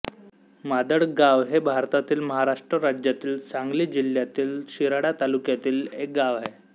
मादळगांव हे भारतातील महाराष्ट्र राज्यातील सांगली जिल्ह्यातील शिराळा तालुक्यातील एक गाव आहे